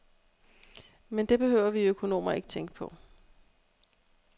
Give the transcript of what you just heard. Men det behøver vi økonomer ikke tænke på.